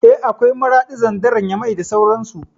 Eh, akwai Maraɗi, Zandar, Nyamai da sauran su